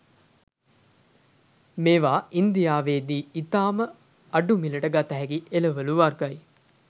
මේවා ඉංදියාවේදී ඉතාම අඩු මිලට ගතහැකි එළවලූ වර්ගයි.